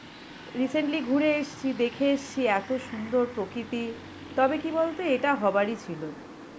recently ঘুরে এসছি, দেখে এসছি এত সুন্দর প্রকৃতি. তবে কি বলতো, এটা হওয়ারই ছিল.